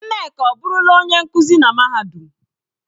Nneka ọ burula onye nkuzi na mahadum?